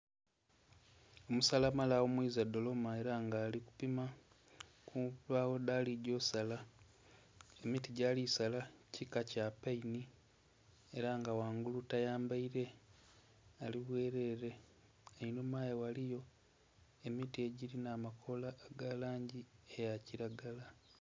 Omusalamala aghumwiza dholoma ela nga ali kupima ku mbagho dhali gya osala, emiti gyali sala kika kya paini ela nga ghangulu tayambaile ali bweleele. Enhuma ghe ghaligho emiti egilinha amakoola aga langi ya kilagala.